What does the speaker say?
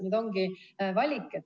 Nüüd ongi valiku koht.